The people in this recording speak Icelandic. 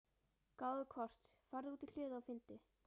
gáðu hvort. farðu út í hlöðu og finndu.